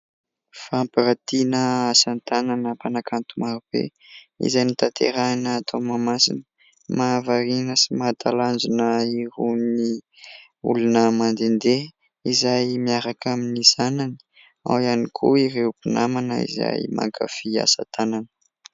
Famparantiana asatanana mpanakanto marobe izay notanterahina tao Mahamasina. Mahavariana sy mahatalanjona irony olona mandendeha izay miaraka amin'ny zanany, ao ihany koa ireo mpinamana izay mankafia asatanana.